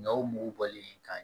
Ɲɔw mugu bɔlen kan